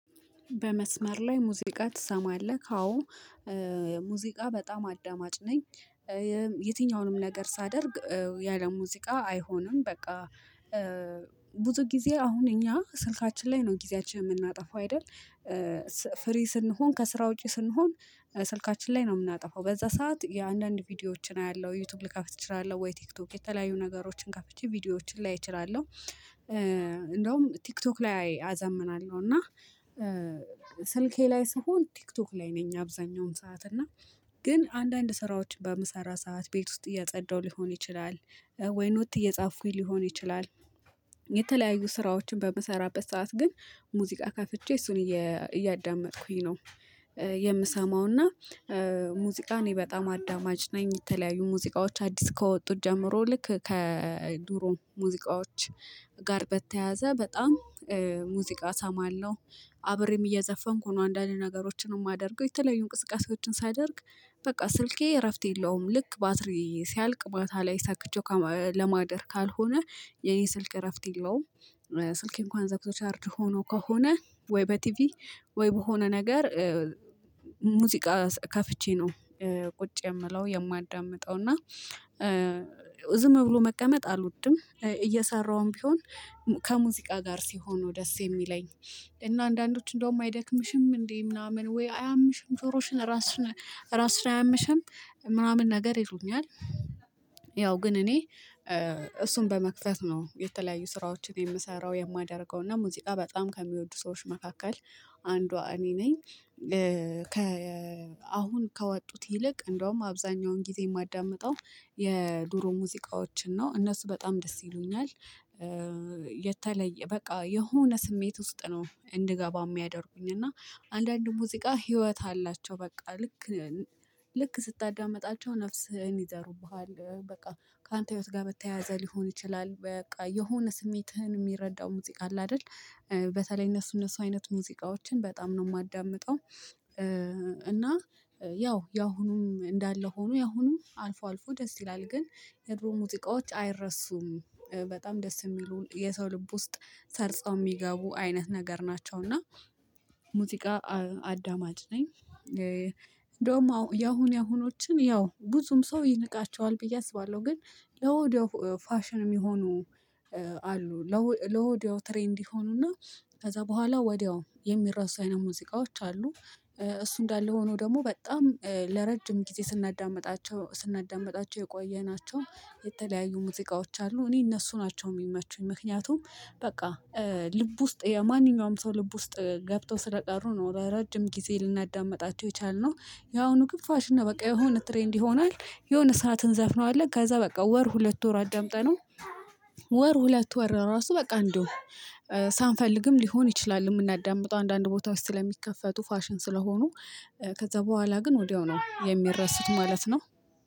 በመስመር ላይ ሙዚቃ ትሰማለህ? አዎ ሙዚቃ በጣም አዳማጭ ነኝ። የትኛውንም ነገር ሳደርግ የአለ ሙዚቃ አይሆንም በቃ። ብዙ ጊዜ አሁን እኛ ስልካችን ላይ ነው ጊዜያችን የምናጠፋው አይደል? ፍሪ ስንሆን ከስራ ውጪ ስንሆን ስልካችን ላይ ነው የምናጠፋው በዛ ሰዓት የአንዳንድ ቪዲዮዎችን አያለሁ ዩቲዩብ ልከፍት እችላለሁ ወይ ቲክቶክ የተለያዩ ነገሮችን ከፍቼ ቪዲዮዎችን ላይ እችላለሁ። እንደውም ቲክቶክ ላይ አዘምናለሁ እና ስልኬ ላይ ስሆን ቲክቶክ ላይ ነኝ። አብዛኛውን ሰዓት እና ግን አንዳንድ ስራዎች በመሰራ ሰዓት ቤት ውስጥ እየጸዳሁ ሊሆን ይችላል ወይ ኖት እየጻፍኩኝ ሊሆን ይችላል። የተለያዩ ስራዎችን በምሰራበት ሰዓት ግን ሙዚቃ ከፍቼ እሱን እያዳመጥኩኝ ነው። የምሰማውና ሙዚቃ እኔ በጣም አዳማጅ ነኝ። የተለያዩ ሙዚቃዎች አዲስ ከወጡት ጀምሮ ልክ ከዱሮ ሙዚቃዎች ጋር በተያያዘ በጣም ሙዚቃ ሰማህለው? አብሬም እየዘፈንኩ ነው አንዳንድ ነገሮችንም የማደርገው የተለያዩ እንቅስቃሴዎችን ሳደርግ በቃ ስልኬ እረፍት የለውም። ልክ ባትሪ ሲያልቅ ማታ ላይ ሰክቼው ለማደር ካልሆነ የኔ ስልክ እረፍት የለውም። ስልኬ እንኳን ዘግቶ ቻርጅ ሆኖ ከሆነ ወይ በቲቪ ወይ በሆነ ነገር ሙዚቃ ከፍቼ ነው ቁጭ የምለው የማዳምጠው እና። ዝም ብሎ መቀመጥ አልወድም። እየሰራሁም ቢሆን ከሙዚቃ ጋር ሲሆኑ ነው ደስ የሚለኝ። እና አንዳንዶች እንደውም አይደክምሽም እንዴ? ምናምን ወይ አያምሽም ጆሮሽን ራስሽን ራስሽን አያምሽም? ምናምን ነገር ይሉኛል። ግን እኔ እሱን በመክፈት ነው የተለያዩ ስራዎችን የምሰራው የማደርገው እና ሙዚቃ በጣም ከሚወዱ ሰዎች መካከል አንዷ እኔ ነኝ። ከ አሁን ከወጡት ይልቅ እንደውም አብዛኛውን ጊዜ የማዳምጠው የድሮ ሙዚቃዎችን ነው እነሱ በጣም ደስ ይሉኛል። የተለየ በቃ የሆነ ስሜት ውስጥ ነው እንድገባ የሚያደርጉኝ እና አንዳንድ ሙዚቃ ህይወት አላቸው በቃ ልክ ልክ ስታዳምጣቸው ነፍስህን ይዘሩብሃል። በቃ ከአንተ ህይወት ጋር በተያያዘ ሊሆን ይችላል በቃ የሆነ ስሜትህን የሚረዳው ሙዚቃ አለ አይደል? በተለይ እነሱ እነሱ አይነት ሙዚቃዎችን በጣም ነው የማዳምጠው። እና ያው ያሁኑም እንዳለ ሆኖ ያሁኑም አልፎ አልፎ ደስ ይላል ግን የድሮ ሙዚቃዎች አይረሱም። በጣም ደስ የሚሉ የሰው ልብ ውስጥ ሰርጸው የሚገቡ አይነት ነገር ናቸው። እና ሙዚቃ አዳማጭ ነኝ። እንደውም ያሁን ያሁኖችን ያው ብዙም ሰው ይንቃቸዋል ብዬ አስባለሁ። ግን ለወዲያው ፋሽን የሚሆኑ አሉ ለወዲያው ትሬንድ ይሆኑና ከዛ በኋላ ወዲያው የሚረሱ አይነት ሙዚቃዎች አሉ። እሱ እንዳለ ሆኖ ደግሞ በጣም ለረጅም ጊዜ ስናዳምጣቸው ስናዳምጣቸው የቆየናቸው የተለያዩ ሙዚቃዎች አሉ እኔ እነሱ ናቸው የሚመቹኝ። ምክንያቱም በቃ ልብ ውስጥ የማንኛውም ሰው ልብ ውስጥ ገብተው ስለቀሩ ነው ረጅም ጊዜ ልናዳምጣቸው የቻልነው። ያሁኑ ግን ፋሽን ነው በቃ የሆነ ትሬንድ ይሆናል። የሆነ ሰዓት እንዘፍነዋለን ከዛ በቃ ወር ሁለት ወር አደምጠነው። ወር ሁለት ወር ራሱ በቃ እንደው ሳንፈልግም ሊሆን ይችላል የምናዳምጠው አንዳንድ ቦታዎች ውስጥ ስለሚከፈቱ ፋሽን ስለሆኑ። ከዛ በኋላ ግን ወዲያው ነው የሚረሱት ማለት ነው።